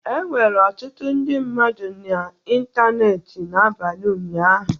Enwere ọtụtụ ndị mmadụ n'ịntanetị n'abalị ụnyaahụ